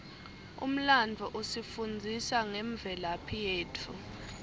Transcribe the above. umlandvo usifundzisa ngemvelaphi yetfu